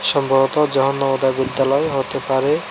সম্ভবত জাহানোদয় বিদ্যালয় হতে পারে।